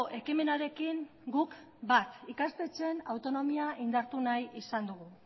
ekimenarekin guk bat ikastetxeen autonomia indartu nahi izan dugu